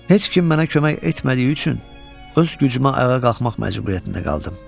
Heç kim mənə kömək etmədiyi üçün öz gücümə ayağa qalxmaq məcburiyyətində qaldım.